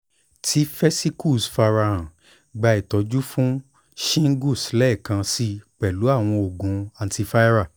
ti vesicles farahan gba itọju fun shingles lẹẹkansi pẹlu awọn oogun antiviral